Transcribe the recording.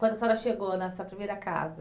Quando a senhora chegou nessa primeira casa.